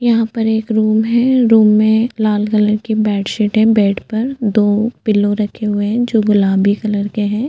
यहाँ पर एक रूम है रूम में लाल कलर की बेडशीट है बेड पर दो पिल्लो रखे हुए है जो गुलाबी कलर के है।